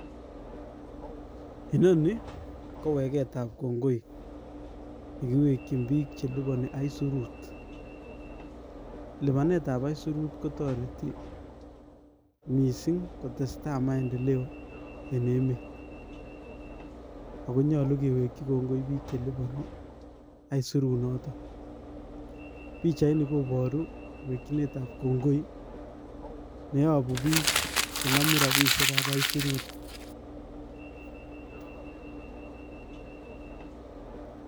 Enoni, ko wegetab kongoi, ye kiwekchin biik che lipani aisurut. Lipanetab aisurut kotoreti mising kotestai maendeleo en emet. Akonyolu kiwekchi kongoi biik che lipani aisurut notok. Pichait nii koboru wekchinetab kongoi, neiyogu biik che namu rabishiekab aisurut